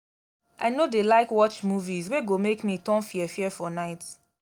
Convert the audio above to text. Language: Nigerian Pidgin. i no dey like watch movies wey go make me turn fear-fear for night.